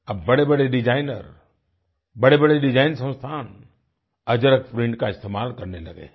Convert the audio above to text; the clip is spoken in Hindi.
अब बड़ेबड़े डिजाइनर बड़ेबड़े डिजाइन संस्थान अजरक प्रिंट का इस्तेमाल करने लगे हैं